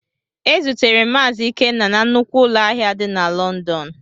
E zutere m Mazi Ikenna na nnukwu ụlọ ahịa di na Lọndọn.